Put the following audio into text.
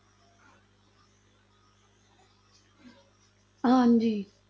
ਹਾਂਜੀ।